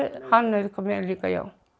hann nauðgaði mér líka